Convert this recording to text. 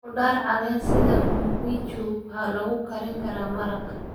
Khudaar caleen sida mxiichu waxaa lagu karin karaa maraq.